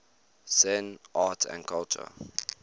zen art and culture